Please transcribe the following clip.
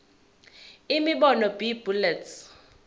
imibono b bullets